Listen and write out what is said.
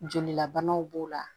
Jolilabanaw b'o la